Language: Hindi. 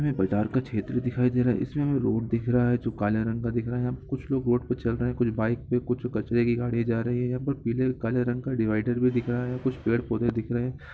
ये बाजार का क्षेत्र दिखाई दे रहा है इसमें हमें रोड दिख रहा है जो काले रंग का दिख रहा है यहाँ पे कुछ लोग रोड पे चल रहें हैं कुछ बाइक पे कुछ कचरे की गाड़ी जा रही है यहाँ पे पिले काले रंग का डिवाइडर भी दिख रहा है कुछ पेड़-पौधे भी दिख रहें हैं।